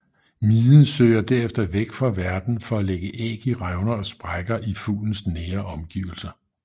Miden søger derefter væk fra værten for at lægge æg i revner og sprækker i fuglens nære omgivelser